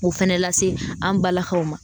o fɛnɛ lase an balakaw ma.